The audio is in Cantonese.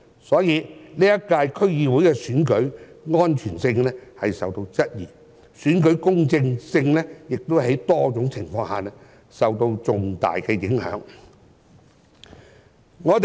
所以，本屆區議會選舉的安全性受到質疑，選舉公正性亦在多種情況下受到重大的影響。